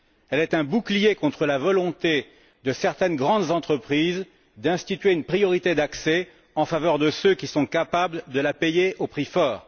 Elle est un bouclier contre la volonté de certaines grandes entreprises d'instituer une priorité d'accès en faveur de ceux qui sont capables de la payer au prix fort.